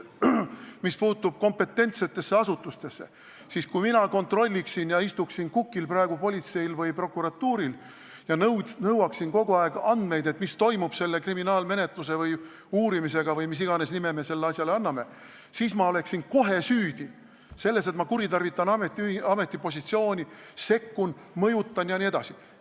Mis puutub kompetentsetesse asutustesse, siis kui mina kontrolliksin politseid või prokuratuuri, istuksin praegu neil kukil ning nõuaksin kogu aeg andmeid, mis toimub selle kriminaalmenetluse või uurimisega või mis iganes nime me sellele asjale anname, siis ma oleksin kohe süüdi selles, et ma kuritarvitan ametipositsiooni, sekkun, mõjutan jne.